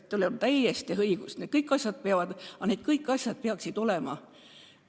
Teil on täiesti õigus, need kõik asjad peaksid olema.